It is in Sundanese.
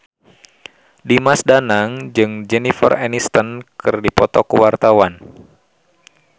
Dimas Danang jeung Jennifer Aniston keur dipoto ku wartawan